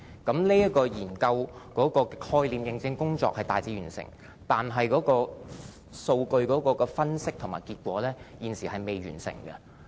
這個研究的概念認證工作已大致完成，但是，數據分析和結果現則未完結。